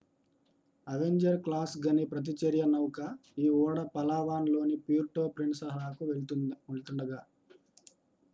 Avenger class గని ప్రతిచర్య నౌక ఈ ఓడ పలావాన్ లోని ప్యూర్టో ప్రిన్ససాకు వెళ్తుండగా